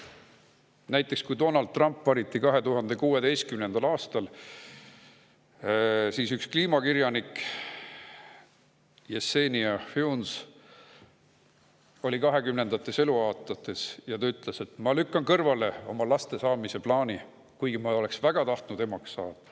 Näiteks, kui Donald Trump valiti 2016. aastal, siis kliimakirjanik Yessenia Funes, kes oli kahekümnendates eluaastates, ütles, et ta lükkab kõrvale oma lastesaamise plaani, kuigi ta oleks väga tahtnud emaks saada.